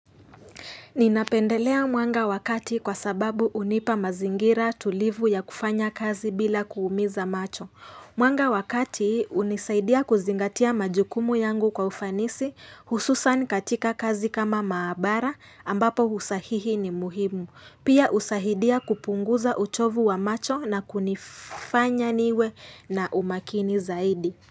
Ninapendelea mwanga wa kati kwa sababu hunipa mazingira tulivu ya kufanya kazi bila kuumiza macho. Mwanga wa kati hunisaidia kuzingatia majukumu yangu kwa ufanisi hususan katika kazi kama maabara ambapo usahihi ni muhimu. Pia husaidia kupunguza uchovu wa macho na kunifanya niwe na umakini zaidi.